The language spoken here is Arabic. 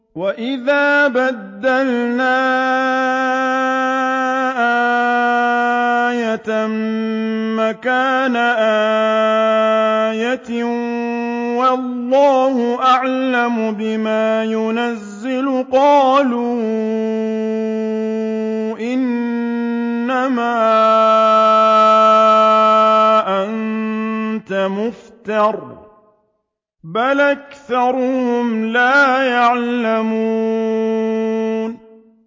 وَإِذَا بَدَّلْنَا آيَةً مَّكَانَ آيَةٍ ۙ وَاللَّهُ أَعْلَمُ بِمَا يُنَزِّلُ قَالُوا إِنَّمَا أَنتَ مُفْتَرٍ ۚ بَلْ أَكْثَرُهُمْ لَا يَعْلَمُونَ